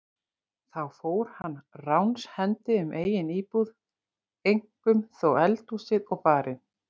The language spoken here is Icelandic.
Þá fór hann ránshendi um eigin íbúð, eink- um þó eldhúsið og barinn.